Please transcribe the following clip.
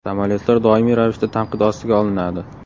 Samolyotlar doimiy ravishda tanqid ostiga olinadi.